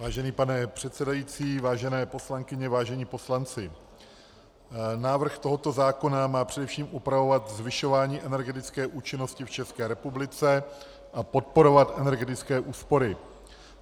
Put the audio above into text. Vážený pane předsedající, vážené poslankyně, vážení poslanci, návrh tohoto zákona má především upravovat zvyšování energetické účinnosti v České republice a podporovat energetické úspory.